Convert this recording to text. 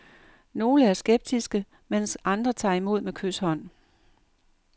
Nogle er skeptiske, mens andre tager imod med kyshånd.